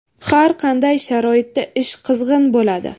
Har qanday sharoitda ish qizg‘in bo‘ladi.